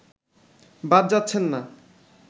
বাদ যাচ্ছেন না